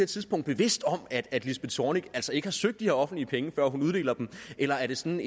tidspunkt bevidst om at lisbeth zornig altså ikke har søgt de her offentlige penge før hun uddeler dem eller er det sådan